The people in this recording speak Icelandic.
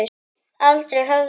Aldrei höfðu